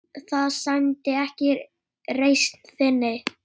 Það sæmdi ekki reisn þinni.